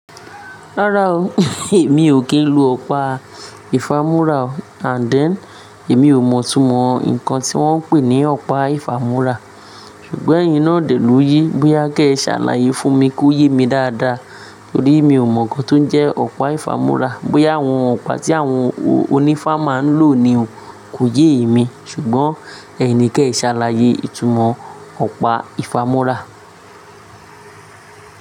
Rárá o, èmi ò kí ń lo ọ̀pá ìfámú́ra and then èmi ò mọ̀ túmọ̀ nǹkan tí wọ́n ń pè ní ọ̀pá ìfámú́ra. Ṣùgbọ́n eyín náà dè lójé bóyá gẹ́ ṣàlàyé fún mi kó yé mi dáadáa torí mi ò mọ̀ nǹkan tó ń jẹ́ ọ̀pá ìfámú́ra, bóyá àwọn ọ̀pá tí àwọn onífá máa ń lò ni o kò yé mi ṣùgbọ́n ẹ̀yin ni kí ẹ ṣàlàyé ìtumọ̀ ọ̀pá ìfámú́ra.